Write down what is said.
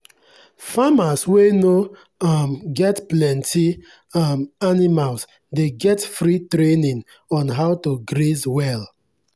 farmers wey no um get plenty um animals dey get free training on how to graze well.